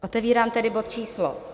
Otevírám tedy bod číslo